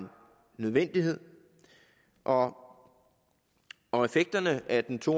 nødvendighed og og effekterne af den to